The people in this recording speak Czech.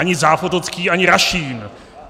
Ani Zápotocký, ani Rašín.